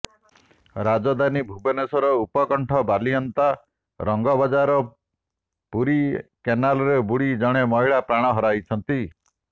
ରାଜଧାନୀ ଭୁବନେଶ୍ବର ଉପକଣ୍ଠ ବାଲିଅନ୍ତା ରଙ୍ଗବଜାର ପୁରୀ କେନାଲରେ ବୁଡ଼ି ଜଣେ ମହିଳା ପ୍ରାଣ ହରାଇଛନ୍ତି